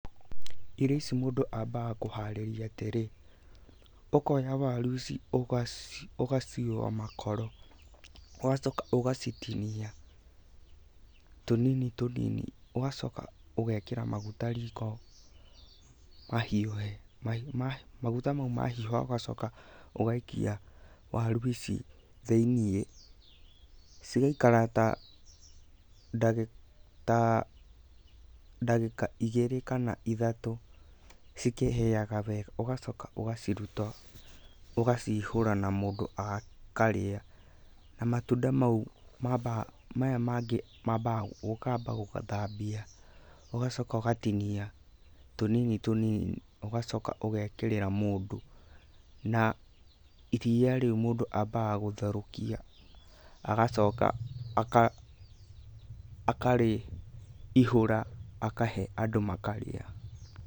Irio ici mũndũ ambaga kũharĩria atĩrĩ, ũkoya waru ici ũkaciũa makoro, ũgacoka ũgacitinia tũnini tũnini ũgacoka ũgekĩra maguta riko mahiũhe. Maguta mau mahiũha ũgacoka ũgaikia waru ici thĩiniĩ, cigaikara ta ndagĩka igĩrĩ kana ithatũ cikĩhĩaga wega, ũgacoka ũgaciruta ũgacihũra na mũndũ akarĩa. Na matunda mau maya mangĩ mambaga ũkamba gũthambia, ũgacoka ũgatinia tũnini tũnini ũgacoka ũgekĩrĩra mũndũ. Na iria rĩu mũndũ ambaga gũtherũkia, agacoka akarĩihũra akahe andũ makarĩa.